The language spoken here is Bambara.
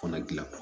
Kɔnɔ gilan